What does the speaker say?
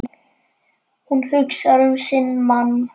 Hún hugsar um sinn mann.